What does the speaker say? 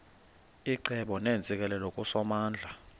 icebo neentsikelelo kusomandla